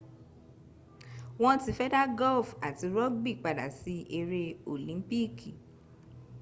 won ti fe da golfi ati rugby pada si ere olimpiki